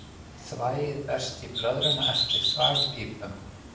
Þvagið berst í blöðruna eftir þvagpípum.